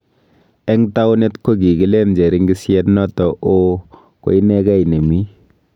Eng taunet ko kigileen cheringisyet noto ooh ko inegei ne mii